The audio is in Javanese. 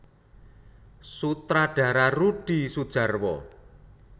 Sutradara Rudi Soedjarwo